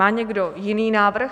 Má někdo jiný návrh?